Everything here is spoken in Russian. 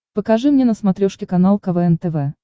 покажи мне на смотрешке канал квн тв